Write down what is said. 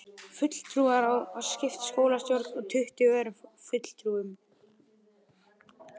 Fulltrúaráð var skipað skólastjórn og tuttugu öðrum fulltrúum.